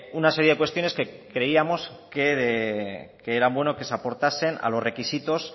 una serie de cuestiones que creíamos que eran bueno que se aportasen a los requisitos